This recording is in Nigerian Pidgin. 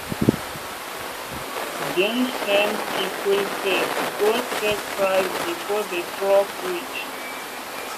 dem send people first go check price before the truck reach.